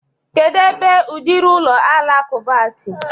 Kedu ebe udiri ụlọ alakụba a si?